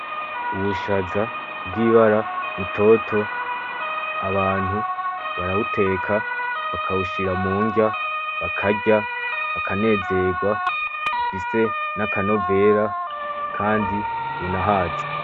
Ubushaza bwibara butoto , abantu barabuteka bakabushira munrya bakarya ,bakanezerwa ndetse nakanovera kandi bunahaza .